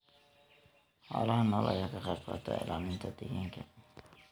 Xoolaha nool ayaa ka qayb qaata ilaalinta deegaanka.